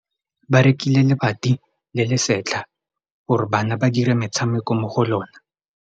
Ba rekile lebati le le setlha gore bana ba dire motshameko mo go lona.